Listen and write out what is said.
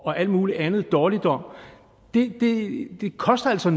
og alt mulig anden dårligdom det koster altså